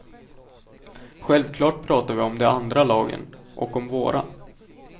Självklart pratar vi om de andra lagen, och om våra.